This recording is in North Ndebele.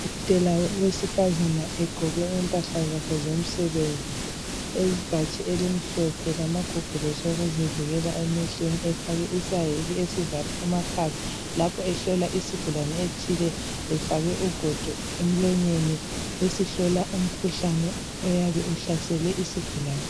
Udokotela wesifazane egqoke impahla zakhe zomsebenzi ibhatshi elimhlophe lamagogorosi okuzivikela emehlweni efake isaheke esivala amakhala lapho ehlola isigulane ethile efake ugodo emlonyeni esihlola umkhuhlane oyabe uhlasele isigulani.